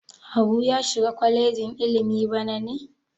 Habu ya shiga kwalejin ilimi bana ne?